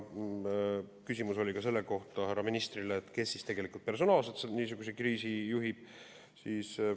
Küsimus oli härra ministrile ka selle kohta, kes tegelikult personaalselt niisugust kriisi juhib.